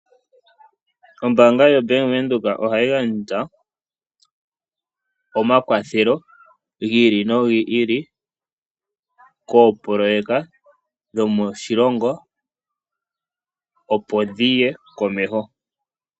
Ombaanga yaVenduka ohayi gandja omakwatho gi ili nogili koopoloyeka dhomoshilongo opo dhiye komeho.